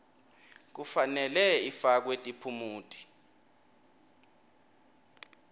kufanele ifakwe tiphumuti